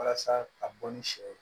Walasa ka bɔ ni sɛ ye